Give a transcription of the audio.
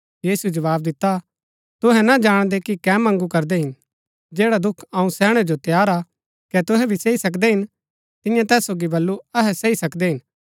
यीशुऐ जवाव दिता तुहै ना जाणदै कि कै मँगू करदै हिन जैडा दुख अऊँ सैहणै जो तैयार हा कै तुहै भी सही सकदै हिन तिन्यै तैस सोगी बल्लू अहै सही सकदै हिन